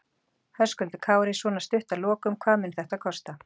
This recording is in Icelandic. Höskuldur Kári: Svona stutt að lokum, hvað mun þetta kosta?